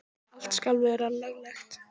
Allt skal vera löglegt.